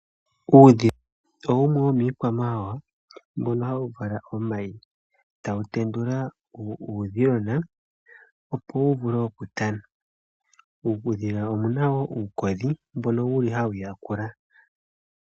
Uudhila owo wumwe womiikwamawawa, mbono hawu vala omayi, tawu tendula uudhilona opo wu vule oku tana. Uudhila omuna wo uukodhi mbono wuli hawu yakula.